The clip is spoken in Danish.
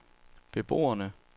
beboerne